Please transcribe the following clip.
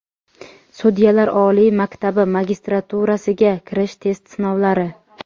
Sudyalar oliy maktabi magistraturasiga kirish test sinovlari.